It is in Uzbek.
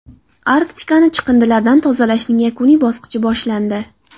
Arktikani chiqindilardan tozalashning yakuniy bosqichi boshlandi.